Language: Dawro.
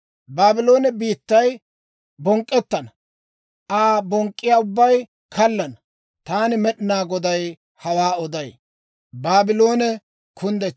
Baabloone biittay bonk'k'ettana; Aa bonk'k'iyaa ubbay kallana. Taani Med'inaa Goday hawaa oday.